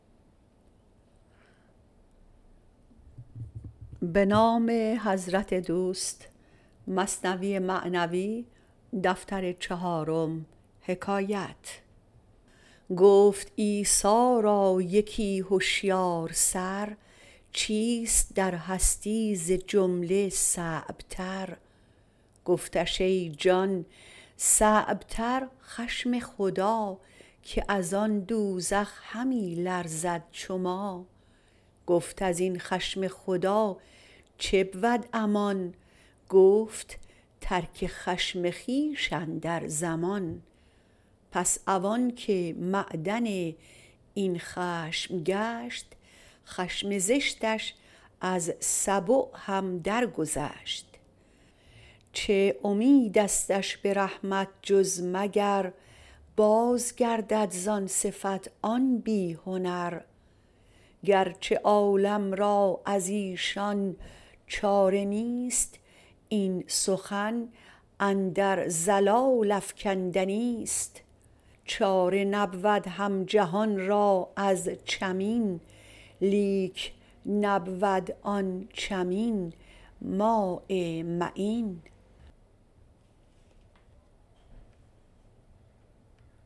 گفت عیسی را یکی هشیار سر چیست در هستی ز جمله صعب تر گفتش ای جان صعب تر خشم خدا که از آن دوزخ همی لرزد چو ما گفت ازین خشم خدا چبود امان گفت ترک خشم خویش اندر زمان پس عوان که معدن این خشم گشت خشم زشتش از سبع هم در گذشت چه امیدستش به رحمت جز مگر باز گردد زان صفت آن بی هنر گرچه عالم را ازیشان چاره نیست این سخن اندر ضلال افکندنیست چاره نبود هم جهان را از چمین لیک نبود آن چمین ماء معین